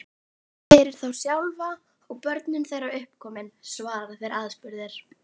Fyrir þá sjálfa, og börnin þeirra uppkomin, svara þeir aðspurðir.